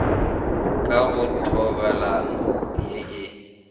ka go thobalano ye e